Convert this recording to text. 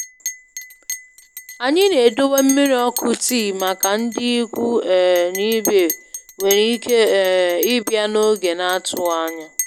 Anyị na-edowe mmiri ọkụ tii màkà ndị ikwu um na ibe nwéré ike um ịbịa n'oge n'atụghị ányá.